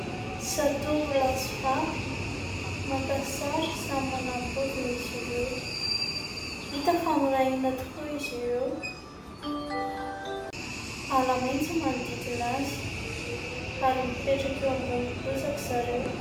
Zatovo lahy sy vavy maka sary, samy manana ny paoziny izy ireo. Hita fa miray hina tokoa izy ireo. Ala maitso no manodidina azy ary mipetraka eo ambonin'ny bozaka izy ireo.